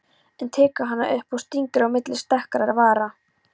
En tekur hana upp og stingur á milli strekktra vara.